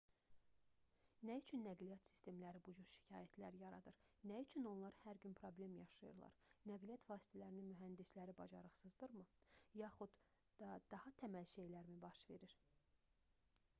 nə üçün nəqliyyat sistemləri bu cür şikayətlər yaradır nə üçün onlar hər gün problem yaşayırlar nəqliyyat vasitələrinin mühəndisləri bacarıqsızdırmı yaxud da daha təməl şeylərmi baş verir